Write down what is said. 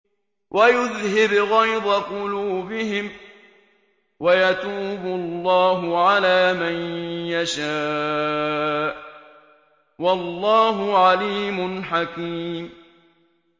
وَيُذْهِبْ غَيْظَ قُلُوبِهِمْ ۗ وَيَتُوبُ اللَّهُ عَلَىٰ مَن يَشَاءُ ۗ وَاللَّهُ عَلِيمٌ حَكِيمٌ